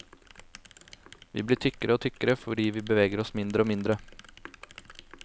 Vi blir tykkere og tykkere fordi vi beveger oss mindre og mindre.